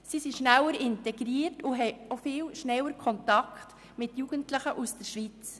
Sie sind schneller integriert und haben auch viel schneller Kontakt mit Jugendlichen aus der Schweiz.